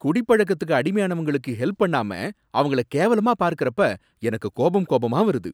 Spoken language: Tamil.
குடிப்பழக்கத்துக்கு அடிமையானவங்களுக்கு ஹெல்ப் பண்ணாம அவங்கள கேவலமா பார்க்கறப்ப எனக்கு கோபம் கோபமா வருது